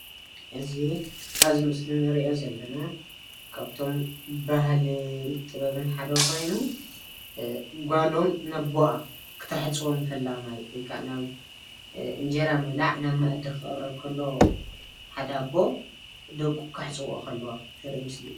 እዚ አብዚ ምስሊ እንሪኦ ዘለና ካብቶም ባህሊን ጥበብን ሓደ ኮይኑ፤ ጓሎም ንአቡአ ክተሕፅቦም ከላ ማይ ወይ ከዓ እንጀራ ምብላዕ ናብ መአዲ ክቅረብ ከሎ ሓደ አቦ ደቁ ከሕፅበኦ ከለዋ ዘርኢ ምስሊ እዩ፡፡